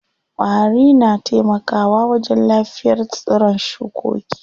Ƙwari na taimaka wa wajen lafiyar tsiron shukoki.